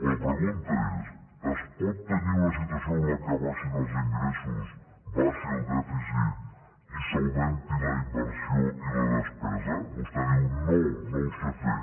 la pregunta és es pot tenir una situació en la que baixin els ingressos baixi el dèficit i s’augmenti la inversió i la despesa vostè diu no no ho sé fer